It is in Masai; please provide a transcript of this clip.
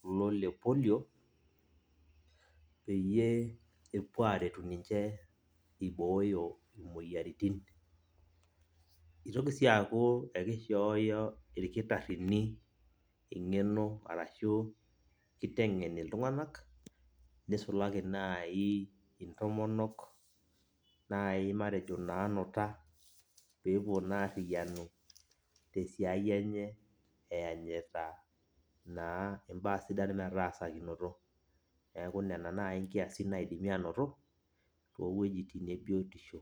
kulo le polio, peyie epuo aretu ninche ibooyo imoyiaritin. Itoki si aku ekishooyo irkitaarrini eng'eno arashu kiteng'en iltung'anak, nisulaki nai intomonok nai matejo nanuta, pepuo naarriyianu tesiai enye eyanyita naa imbaa sidan metaasakinoto. Neeku nena nai nkiasin naidimi anoto, towuejiting ebiotisho.